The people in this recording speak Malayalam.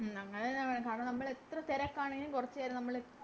അങ്ങനെന്നെ വേണം കാരണം നമ്മളെത്ര തെരക്കാണെലും കൊറച്ചേരാം നമ്മള്